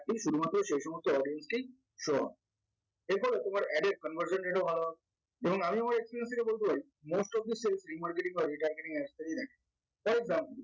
atlist শুধুমাত্র সেইসমস্ত audience কেই show on এরপরে তোমার ad এর conversant rate ও ভালো হবে এবং আমি আমার experience থেকে বলবই most of your self remarketing or retargeting experiment for example